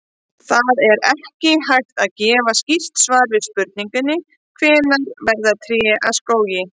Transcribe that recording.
Það er ekki hægt að gefa skýrt svar við spurningunni hvenær verða tré að skógi.